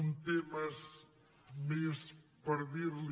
un tema més per dir li